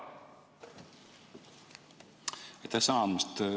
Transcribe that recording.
Aitäh sõna andmast!